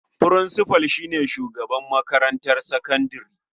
Furinsifal shi ne shugaban makarantar sakandare.